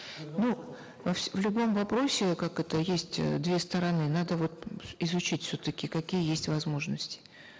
ну во в любом вопросе как это есть две стороны надо вот изучить все таки какие есть возможности